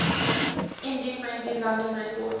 indie friendly london records